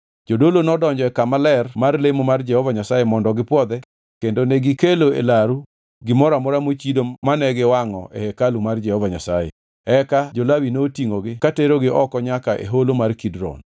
Jodolo nodonjo e kama ler mar lemo mar Jehova Nyasaye mondo gipwodhe kendo negikelo e laru gimoro amora mochido mane ginwangʼo e hekalu mar Jehova Nyasaye, eka jo-Lawi notingʼogi ka terogi oko nyaka e Holo mar Kidron.